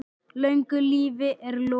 Löngu lífi er lokið.